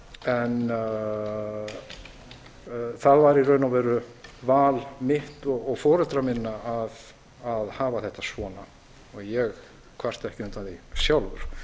en það var í raun og veru val mitt og foreldra minna að hafa þetta svona og ég kvarta ekki undan því sjálfur